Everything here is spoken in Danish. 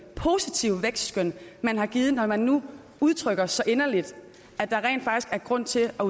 positive vækstskøn man har givet når man nu udtrykker så inderligt at der rent faktisk er grund til at